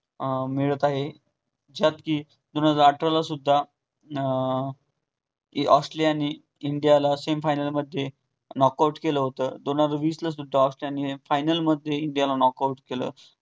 अं मिळत आहे. त्यात कि दोन हजार अठरालासुद्धा अं ऑस्ट्रेलिया ने इंडियाला semi final मधे knock out केल होत. दोन हजार वीसमधे सुद्धा final मधे knock out केल.